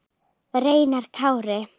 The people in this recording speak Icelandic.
Reynar Kári.